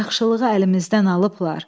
Yaxşılığı əlimizdən alıblar.